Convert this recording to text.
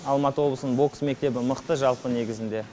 алматы облысының бокс мектебі мықты жалпы негізінде